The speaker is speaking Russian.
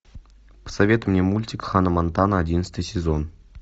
посоветуй мне мультик ханна монтана одиннадцатый сезон